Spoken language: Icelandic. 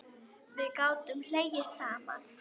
Við gátum hlegið saman.